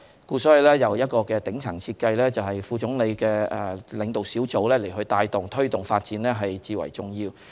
因此，有一個頂層設計，一個由副總理領導的小組帶動、推動發展最為重要。